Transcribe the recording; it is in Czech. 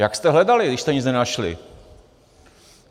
Jak jste hledali, když jste nic nenašli?